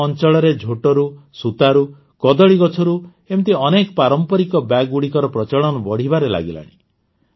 ଆମ ଅଂଚଳରେ ଝୋଟରୁ ସୂତାରୁ କଦଳୀଗଛରୁ ଏମିତି ଅନେକ ପାରମ୍ପରିକ ବ୍ୟାଗଗୁଡ଼ିକର ପ୍ରଚଳନ ବଢ଼ିବାରେ ଲାଗିଲାଣି